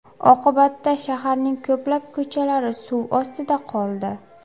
Oqibatda shaharning ko‘plab ko‘chalari suv ostida qoldi .